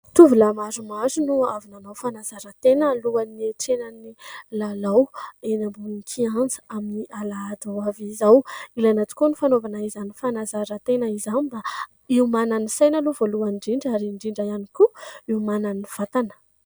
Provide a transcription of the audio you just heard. Tovolahy maromaro no avy nanao fanazaran-tena alohan'ny hanatrehan'ny lalao eny ambonin'ny kianja amin'ny alahady ho avy izao. Ilaina tokoa ny fanaovana izany fanazaran-tena izany mba hiomanan'ny saina aloha voalohany indrindra ary indrindra ihany koa hiomanan'ny vatana.